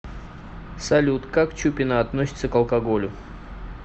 салют как чупина относится к алкоголю